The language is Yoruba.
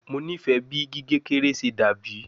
Mo nifẹ bi gige kekere ṣe dabi